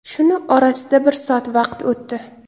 Shuni orasida bir soat vaqt o‘tdi.